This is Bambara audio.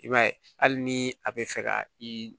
I b'a ye hali ni a bɛ fɛ ka i